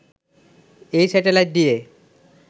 এই স্যাটেলাইট দিয়ে